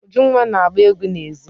Ujunwa na-agba egwu n'èzí.